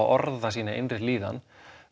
orða sína innri líðan